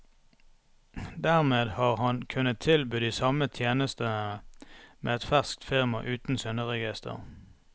Dermed har han kunnet tilby de samme tjenestene med et ferskt firma uten synderegister.